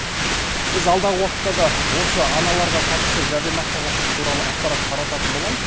біз алдағы уақытта да осы аналарға қатысты жәрдемақыға қатысты туралы ақпарат тарататын боламыз